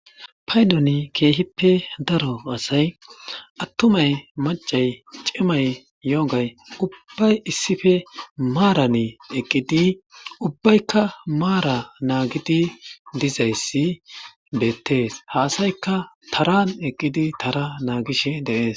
paydoni keehippe daro asay attumay macay cimay yogay ubbay issife maarane eqqidi ubbaykka maara naagidi dizayssi beettees ha asayka taran eqqidi tara naagish de'ees